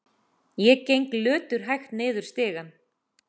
Ég geng löturhægt niður stigann.